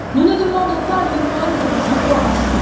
Nous ne demandons pas l'aumône de vos informations.